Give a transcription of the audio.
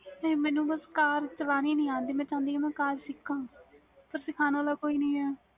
ਮੈਨੂੰ ਬਸ car ਚਲਨੀ ਨਹੀਂ ਆਂਦੀ ਮੈਂ ਚਾਹੁੰਦੀ ਵ care ਕ ਸਿਖਾ ਪਰ ਸਿੱਖਣ ਵਾਲਾ ਕੋਈ ਨਹੀਂ ਏ